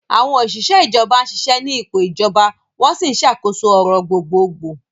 Àwọn òṣìṣẹ́ ìjọba ń ṣiṣẹ́ ní ipò ìjọba, wọ́n sì ń ṣàkóso ọ̀rọ̀ gbogbogbò.